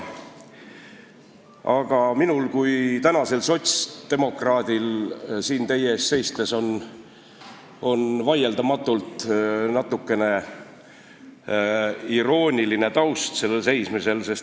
Aga minul kui sotsdemokraadil on siin teie ees seistes vaieldamatult natukene irooniline taust.